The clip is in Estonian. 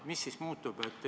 Mis siis muutub?